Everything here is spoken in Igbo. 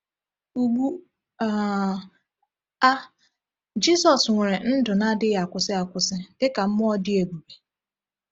Ugbu um a, Jizọs nwere ndụ na-adịghị akwụsị akwụsị dịka mmụọ dị ebube.